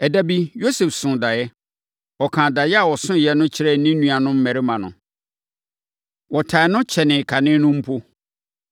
Ɛda bi, Yosef soo daeɛ. Ɔkaa daeɛ a ɔsoeɛ no kyerɛɛ ne nuanom mmarima no, wɔtan no kyɛnee kane no mpo.